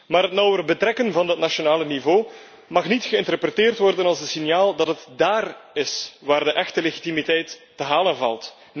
Maar het nauwer betrekken van dat nationale niveau mag niet geïnterpreteerd worden als een signaal dat het daar is waar de echte legitimiteit te halen valt.